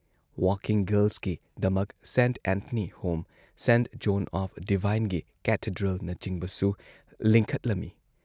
Working ꯒꯥꯔꯜꯁꯀꯤꯗꯃꯛ Saint Anthony home, Saint John of ꯗꯤꯚꯥꯏꯟꯒꯤ ꯀꯦꯊꯦꯗ꯭ꯔꯦꯜꯅꯆꯤꯡꯕꯁꯨ ꯂꯤꯡꯈꯠꯂꯝꯏ ꯫